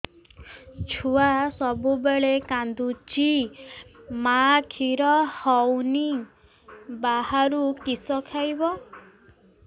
ଛୁଆ ସବୁବେଳେ କାନ୍ଦୁଚି ମା ଖିର ହଉନି ବାହାରୁ କିଷ ଖାଇବ